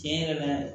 Tiɲɛ yɛrɛ la